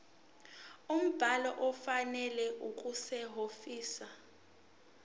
umbhalo ofanele okusehhovisi